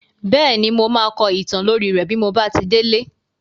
Bẹ́ẹ̀ni, mo máa kọ ìtàn lórí rẹ́ bí mo bá ti délé.